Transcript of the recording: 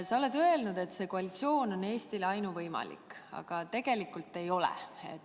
Sa oled öelnud, et see koalitsioon on Eestis ainuvõimalik, aga tegelikult ei ole.